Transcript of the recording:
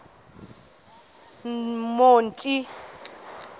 monti